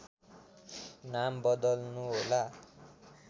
नाम बदल्नु होला